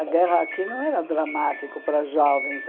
A guerra aqui não era dramático para jovens.